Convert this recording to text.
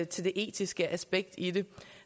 til det etiske aspekt i det